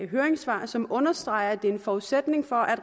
høringssvar som understreger at det er en forudsætning for